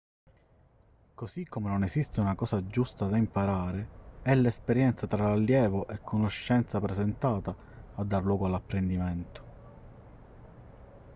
così come non esiste una cosa giusta da imparare è l'esperienza tra allievo e conoscenza presentata a dar luogo all'apprendimento